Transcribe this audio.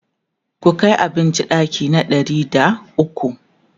ku Kai abinci ɗaki na ɗari da ukwu!